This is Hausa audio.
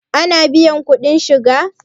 ana biyan kuɗin shiga?